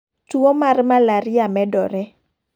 Tuo mar Malaria medore.